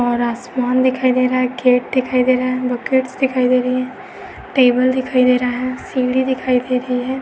और आसमान दिखाई दे रहा है। गेट दिखाई दे रहा है। बकेट्स दिखाई दे रही हैं। टेबल दिखाई दे रहा है। सीढ़ी दिखाई दे रही हैं।